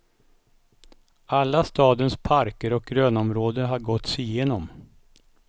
Alla stadens parker och grönområden har gåtts igenom.